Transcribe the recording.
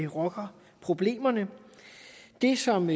rocker problemerne det som